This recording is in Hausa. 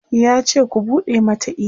yace "ku buɗe Mata email!"